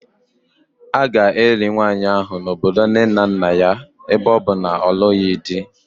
A ga-eli nwanyị ahụ n'obodo nne na nna ya ebe ọ bụ na ọ na-alụghị di